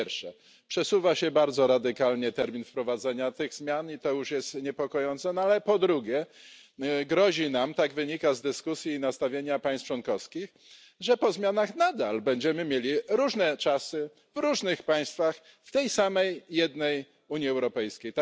Po pierwsze, przesuwa się bardzo radykalnie termin wprowadzenia tych zmian, i to już jest niepokojące, no ale po drugie, grozi nam tak wynika z dyskusji i nastawienia państw członkowskich że po zmianach nadal będziemy mieli różne czasy w różnych państwach w tej samej jednej Unii Europejskiej.